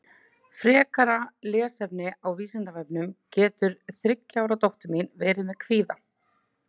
Frekara lesefni á Vísindavefnum Getur þriggja ára dóttir mín verið með kvíða?